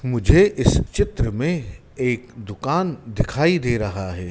मुझे इस चित्र में एक दुकान दिखाई दे रहा है।